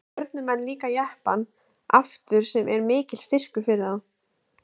Stjörnumenn líka Jeppann aftur sem er mikill styrkur fyrir þá.